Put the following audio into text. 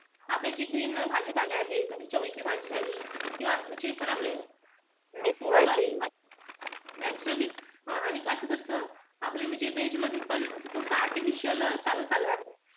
आपले जे green भाजीपाला आहे. चवळीची भाजी झाली. किंवा जे पण आपले naturally आणि हा आता कस आपल्याला म्हणजे veg मध्ये पण थोडस artificial चालू झाला आहे.